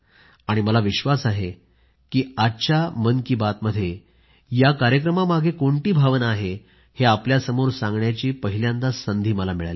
आणि मला विश्वास आहे की आजच्या मन की बातमध्ये या कार्यक्रमामागे कोणती भावना आहे हे आपल्यासमोर सांगण्याची पहिल्यांदाच संधी मला मिळाली